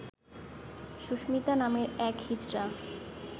সুস্মিতা নামের এক হিজড়া